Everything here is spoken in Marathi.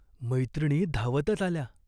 मैत्रिणी धावतच आल्या.